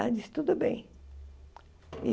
Ela disse, tudo bem.